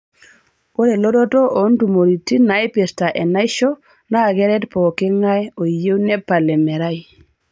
Ore elototo oo ntumoritin naipirta enaisho naa keret pooking'ae oyie nepal emerai.